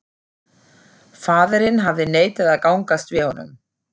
Faðirinn hafði neitað að gangast við honum.